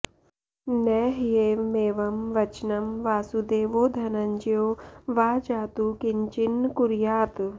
न ह्येवमेवं वचनं वासुदेवो धनञ्जयो वा जातु किंचिन्न कुर्यात्